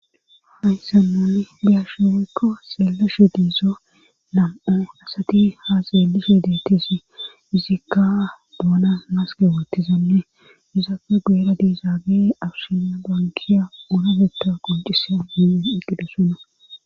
haysan nuni biyashi waykko xeeleshe diizo lam7o asati ha zeelishe deettisi izikka doona maske wattizanne izaafe geera diizaage awshina bankiya urefeta qoncisa hiyen eqqidosona